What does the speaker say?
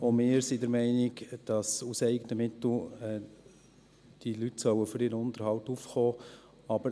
Auch wir sind der Meinung, dass diese Leute aus eigenen Mitteln für ihren Unterhalt aufkommen sollen.